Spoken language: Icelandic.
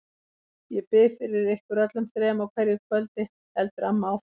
Ég bið fyrir ykkur öllum þrem á hverju kvöldi, heldur amma áfram.